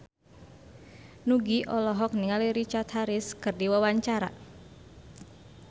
Nugie olohok ningali Richard Harris keur diwawancara